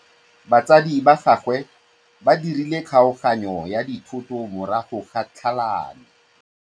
Batsadi ba gagwe ba dirile kgaoganyô ya dithoto morago ga tlhalanô.